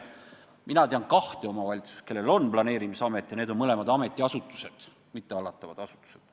Mina tean kahte omavalitsust, kus on planeerimisamet, ja need on mõlemad ametiasutused, mitte hallatavad asutused.